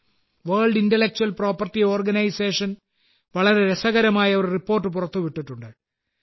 world Intellectual Property Organization വളരെ രസകരമായ ഒരു റിപ്പോർട്ട് പുറത്തുവിട്ടിട്ടുണ്ട്